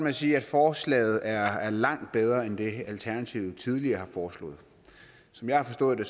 at sige at forslaget er langt bedre end det alternativet tidligere har foreslået som jeg har forstået det